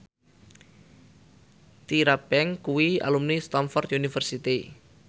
Tyra Banks kuwi alumni Stamford University